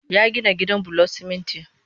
Ya gina gidan bulon siminti